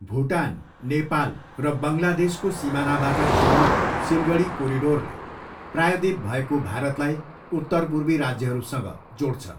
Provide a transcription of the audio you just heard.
भुटान, नेपाल र बङ्गलादेशको सिमानाबाट जोडिएको सिलगडी कोरिडोरले प्रायःद्वीप भएको भारतलाई उत्तरपूर्वी राज्यहरूसँग जोड्छ।